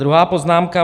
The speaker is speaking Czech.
Druhá poznámka.